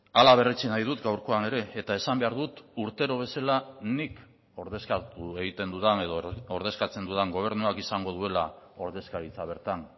hala berretsi nahi dut gaurkoan ere eta esan behar dut urtero bezala nik ordezkatu egiten dudan edo ordezkatzen dudan gobernuak izango duela ordezkaritza bertan